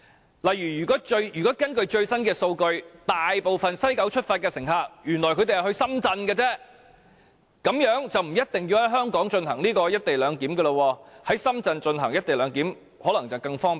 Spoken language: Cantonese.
舉例而言，如果根據最新數據，大部分由西九出發的乘客原來只是前往深圳，這樣便不一定要在香港進行"一地兩檢"，在深圳進行"一地兩檢"可能會更方便。